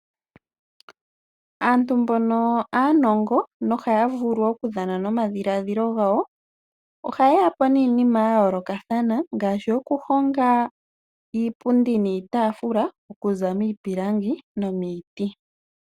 Aantu mbono aanongo nohaya vulu okudhana nomadhiladhilo gawo. Ohaye yapo niinima yayoolokathana ngaashi okuhonga iipundi niitaafula okuza miipilangi nomomiti .